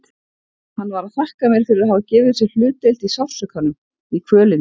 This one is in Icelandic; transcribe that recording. Hann var að þakka mér fyrir að hafa gefið sér hlutdeild í sársaukanum, í kvölinni.